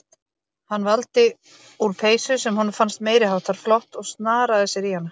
Hann valdi úr peysu sem honum fannst meiri háttar flott og snaraði sér í hana.